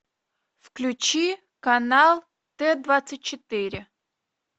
включи канал т двадцать четыре